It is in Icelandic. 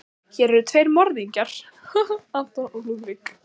Hér eru tveir morðingjar, anton og Lúðvík.